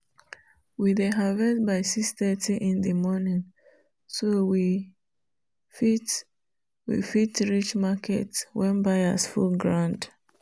we dey harvest by 6:30 in di morning so we fit we fit reach market when buyers full ground.